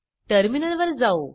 टर्मिनलवर जाऊ